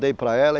Dei para ela.